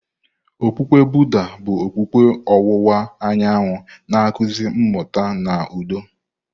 Okpukpe Buddha bụ okpukpe ọwụwa anyanwụ na-akụzi mmụta na udo.